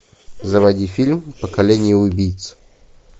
заводи фильм поколение убийц